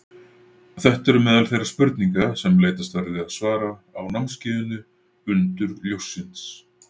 Þetta eru meðal þeirra spurninga leitast verður við að svara á námskeiðinu Undur ljóssins.